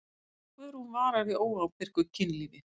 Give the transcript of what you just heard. Guðrún vara við óábyrgu kynlífi.